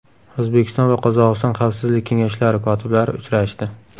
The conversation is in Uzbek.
O‘zbekiston va Qozog‘iston Xavfsizlik kengashlari kotiblari uchrashdi.